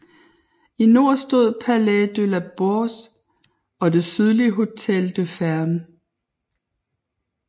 I nord stod Palais de la Bourse og det sydlige Hotel des Fermes